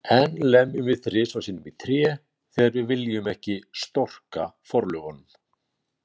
Enn lemjum við þrisvar sinnum í tré þegar við viljum ekki „storka forlögunum“.